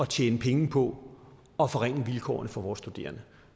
tjene penge på at forringe vilkårene for vores studerende